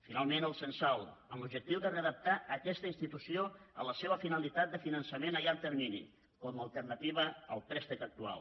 finalment el censal amb l’objectiu de redactar aquesta institució en la seva finalitat de finançament a llarg termini com a alternativa al préstec actual